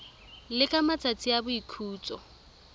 le ka matsatsi a boikhutso